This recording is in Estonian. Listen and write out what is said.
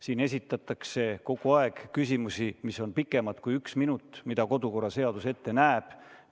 Siin esitatakse kogu aeg küsimusi, mis on pikemad kui üks minut, mida kodukorraseadus ette näeb.